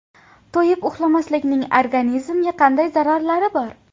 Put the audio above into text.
To‘yib uxlamaslikning organizmga qanday zararlari bor?.